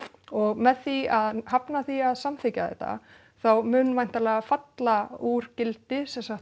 og með því að hafna því að samþykkja þetta þá mun væntanlega falla úr gildi sem sagt